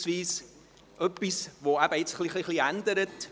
Es gibt etwas, das sich ändert.